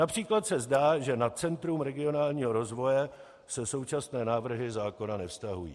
Například se zdá, že na Centrum regionálního rozvoje se současné návrhy zákona nevztahují.